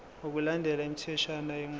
ngokulandela imitheshwana yenqubo